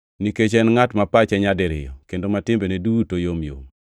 nikech en ngʼat ma pache nyadiriyo kendo ma timbene duto yomyom.